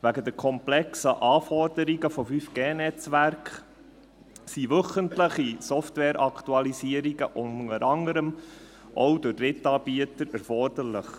Wegen den komplexen Anforderungen der 5G-Netzwerke sind wöchentliche Software-Aktualisierungen, unter anderem auch durch Drittanbieter, erforderlich.